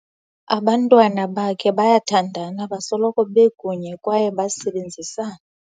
Abantwana bakhe bayathandana, basoloko bekunye kwaye besebenzisana.